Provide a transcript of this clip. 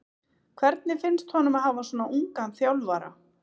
Hvernig finnst honum að hafa svona ungan þjálfara?